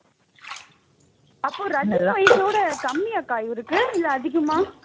அப்ப ரஜினி வயசு விட கம்மியாக்கா இவருக்கு இல்ல அதிகமா